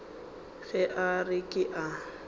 ge a re ke a